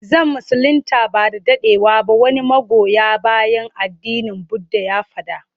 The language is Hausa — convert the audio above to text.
Zan musulinta ba da daɗewa ba wani magoya bayan addinin budda ya faɗa.